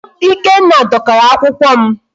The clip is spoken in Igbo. Ikenna dọkara akwụkwọ m.